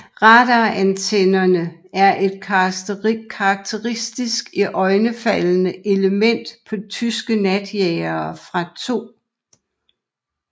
Radarantennerne er et karakteristisk og iøjnefaldende element på tyske natjagere fra 2